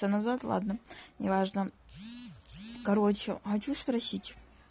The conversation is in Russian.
это назад ладно неважно короче хочу спросить